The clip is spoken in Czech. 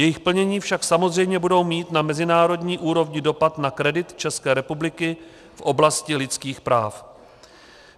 Jejich plnění však samozřejmě budou mít na mezinárodní úrovni dopad na kredit České republiky v oblasti lidských práv.